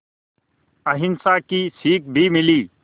अहिंसा की सीख भी मिली